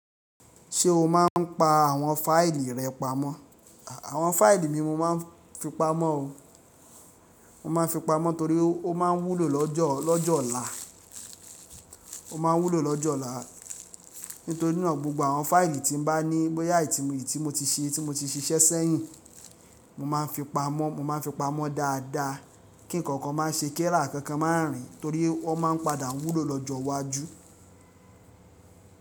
Ṣé o máa ń pa àwọn fáìlì rẹ pamọ́? Àwọn fáìlì mi mo máa ń fi pamọ́ o. Mo máa ń fi pamọ́ torí ó máa ń wúlò lọ́jọ́, lọ́jọ́ ọ̀la. Ó ma wúlò lọ́jọ́ ọ̀la. Nítorí naa gbogbo àwọn fáìlì tí n bá ní, bóyá i ti mọ̀ ti tí mo ti ṣe, tí mo ti ṣiṣẹ́ sẹ́yìn, mo máa ń fi pamọ́, mo máa ń fi pamọ́ dáadáa kí ǹkankan má ṣe kera kankan má rìn torí ọ́n máa ń padà wúlò lọ́jọ́ iwájú.